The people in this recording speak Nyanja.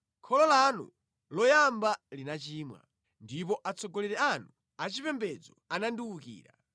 Kholo lanu loyamba linachimwa; ndipo Atsogoleri anu achipembedzo anandiwukira.